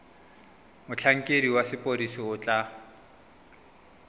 motlhankedi wa sepodisi o tla